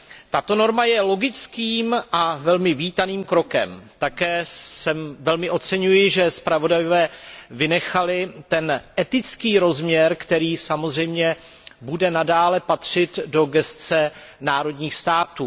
Tato norma je logickým a velmi vítaným krokem. Také velmi oceňuji, že zpravodajové vynechali ten etický rozměr, který samozřejmě bude nadále patřit do působnosti členských států.